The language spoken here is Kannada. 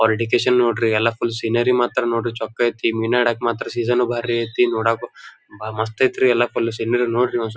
ಅವ್ರ್ ಎಜುಕೇಷನ್ ನೋಡ್ರಿ ಎಲ್ಲ ಫುಲ್ ಸೀನೇರಿ ಮಾಡ್ತರಿ ನೋಡ್ರಿ ಮೀನ ಹಿಡಿಯೋಕ್ ಸೀಸೋನು ಬಾರಿ ಅಯ್ತ್ರಿ ನೋಡಾಕು ಮಸ್ತ್ ಅಯ್ತ್ರಿ ಎಲ್ಲ ಫುಲ್ ಸೀನೇರಿ ನೋಡ್ರಿ.